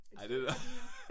Et stykke fra min